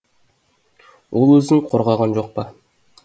ол өзін қорғаған жоқ па